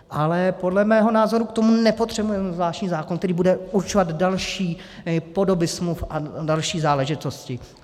Ale podle mého názoru k tomu nepotřebujeme zvláštní zákon, který bude určovat další podoby smluv a další záležitosti.